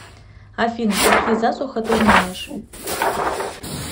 афина какие засуха ты знаешь